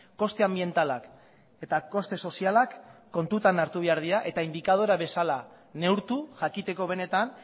koste anbientalak eta koste sozialak kontutan hartu behar dira eta indikadore bezala neurtu jakiteko benetan